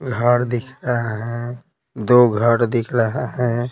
घर दिख रहा है दो घर दिख रहा है।